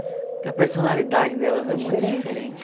Porque a personalidade delas é muito diferente.